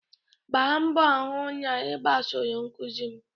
Gbaa mbọ hụ na ị gbasoro nkuzi m!